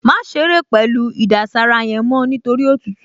Má ṣeré pẹ̀lú ìdására yẹn mọ́ nítorí òtútù!